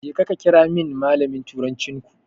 Jeka ka kirawo min malamin turancinku.